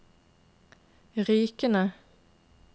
Rykene